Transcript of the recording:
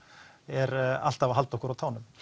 er alltaf að halda okkur á tánum